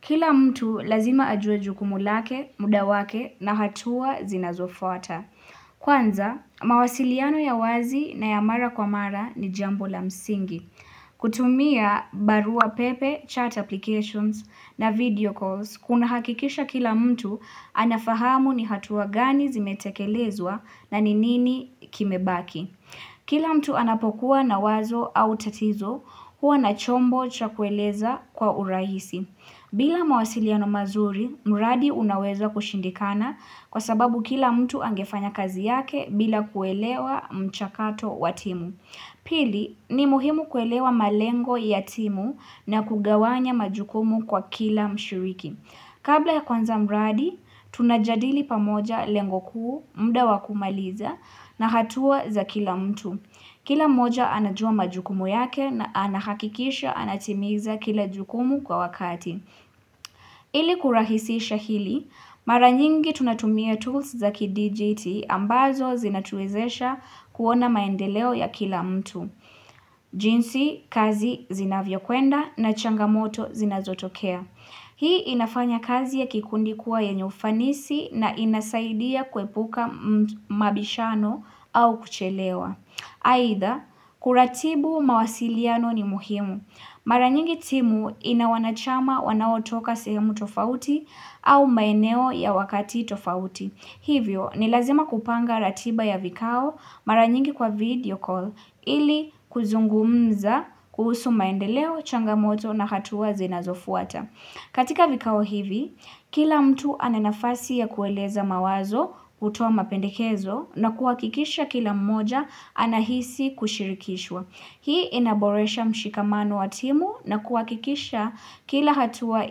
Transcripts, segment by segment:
Kila mtu lazima ajuwe jukumu lake, muda wake na hatua zinazofuata. Kwanza, mawasiliano ya wazi na ya mara kwa mara ni jambo la msingi kutumia barua pepe, chat applications na video calls Kuna hakikisha kila mtu anafahamu ni hatua gani zimetekelezwa na ni nini kimebaki Kila mtu anapokuwa na wazo au tatizo huwa na chombo cha kueleza kwa urahisi bila mawasiliano mazuri, mradi unaweza kushindikana kwa sababu kila mtu angefanya kazi yake bila kuelewa mchakato wa timu. Pili, ni muhimu kuelewa malengo ya timu na kugawanya majukumu kwa kila mshiriki. Kabla ya kwanza mradi, tunajadili pamoja lengo kuu, muda wa kumaliza na hatua za kila mtu. Kila mmoja anajua majukumu yake na anahakikisha anatimiza kila jukumu kwa wakati. Ili kurahisisha hili, mara nyingi tunatumia tools za kidijiti ambazo zinatuwezesha kuona maendeleo ya kila mtu. Jinsi, kazi zinavyo kwenda na changamoto zinazotokea. Hii inafanya kazi ya kikundi kuwa yenye ufanisi na inasaidia kwepuka mabishano au kuchelewa. Haidha, kuratibu mawasiliano ni muhimu. Maranyingi timu ina wanachama wanaotoka sehemu tofauti au maeneo ya wakati tofauti. Hivyo, ni lazima kupanga ratiba ya vikao maranyingi kwa video call ili kuzungumza kuhusu maendeleo, changamoto na hatua zinazofuata. Katika vikao hivi, kila mtu ananafasi ya kueleza mawazo kutoa mapendekezo na kuakikisha kila mmoja anahisi kushirikishwa. Hii inaboresha mshikamano wa timu na kuakikisha kila hatua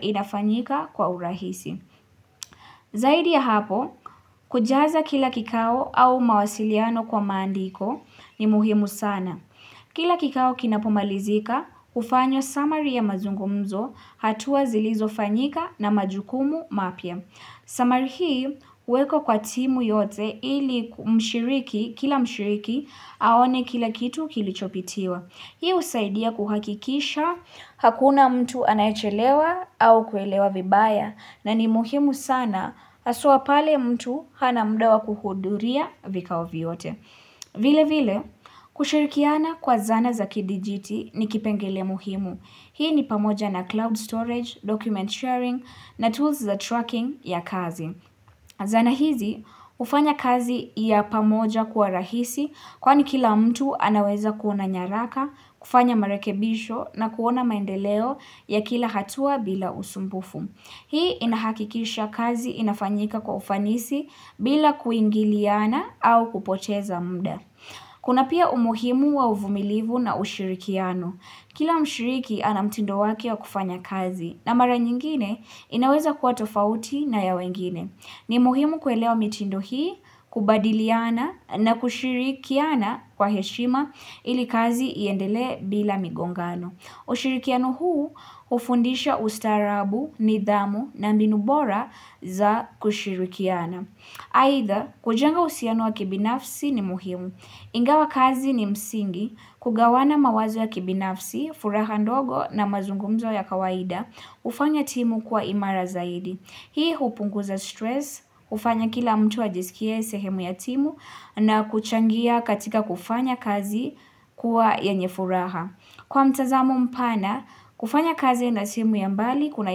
inafanyika kwa urahisi. Zaidi ya hapo, kujaza kila kikao au mawasiliano kwa maandiko ni muhimu sana. Kila kikao kinapumalizika, ufanywa summury ya mazungumzo hatua zilizo fanyika na majukumu mapya. Sumary hii, huwekwa kwa timu yote ili mshiriki, kila mshiriki, aone kila kitu kilichopitiwa. Hii usaidia kuhakikisha, hakuna mtu anaechelewa au kuelewa vibaya na ni muhimu sana aswa pale mtu hana muda wakuhuduria vikao vyote. Vile vile, kushirikiana kwa zana za kidijiti ni kipengele muhimu. Hii ni pamoja na cloud storage, document sharing na tools za tracking ya kazi. Zana hizi hufanya kazi ya pamoja kuwa rahisi kwani kila mtu anaweza kuona nyaraka, kufanya marekebisho na kuona maendeleo ya kila hatua bila usumbufu. Hii inahakikisha kazi inafanyika kwa ufanisi bila kuingiliana au kupoteza muda. Kuna pia umuhimu wa uvumilivu na ushirikiano. Kila mshiriki ana mtindo wake wa kufanya kazi na mara nyingine inaweza kuwa tofauti na ya wengine. Ni muhimu kuelewa mitindo hii, kubadiliana na kushirikiana kwa heshima ili kazi iendelee bila migongano. Ushirikiano huu hufundisha ustaarabu, nidhamu na mbinu bora za kushirikiana. Haidha, kujenga uhusiano wa kibinafsi ni muhimu. Ingawa kazi ni msingi, kugawana mawazo ya kibinafsi, furaha ndogo na mazungumzo ya kawaida, ufanya timu kuwa imara zaidi. Hii hupunguza stress, ufanya kila mtu ajisikie sehemu ya timu na kuchangia katika kufanya kazi kuwa yenye furaha. Kwa mtazamo mpana, kufanya kazi na timu ya mbali kuna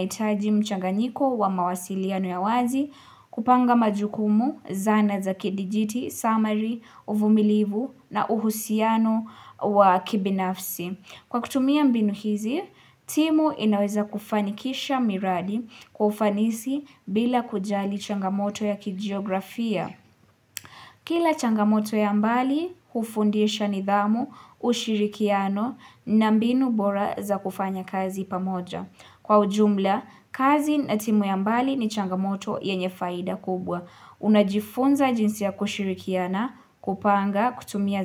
itaji mchanganyiko wa mawasiliano ya wazi, kupanga majukumu, zana za kidijiti, summary, uvumilivu na uhusiano wa kibinafsi. Kwa kutumia mbinu hizi, timu inaweza kufanikisha miradi kwa ufanisi bila kujali changamoto ya kijiografia. Kila changamoto ya mbali, ufundisha nidhamu, ushirikiano, na mbinu bora za kufanya kazi pamoja. Kwa ujumla, kazi na timu ya mbali ni changamoto yenye faida kubwa. Unajifunza jinsi ya kushirikiana, kupanga, kutumia za.